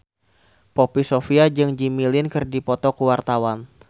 Poppy Sovia jeung Jimmy Lin keur dipoto ku wartawan